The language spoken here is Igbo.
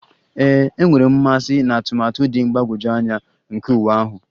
Ee, enwere m mmasị na atụmatụ dị mgbagwoju anya nke uwe ahụ